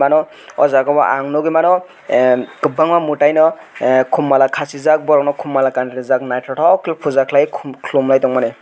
ano aw jaaga o ang nugi mano ahh kabangma mwtai khum mala khasijaak nythoktoke ke khum mala.